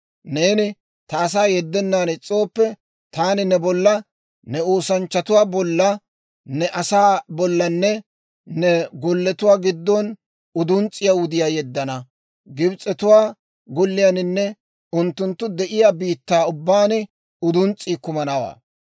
neeni ta asaa yeddennan is's'ooppe, taani ne bolla, ne oosanchchatuwaa bolla, ne asaa bollanne ne golletuwaa giddo uduns's'iyaa wudiyaa yeddana; Gibs'etuwaa golleninne unttunttu de'iyaa biittaa ubbaan uduns's'ii kumanawaa.